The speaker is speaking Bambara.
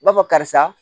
B'a fɔ karisa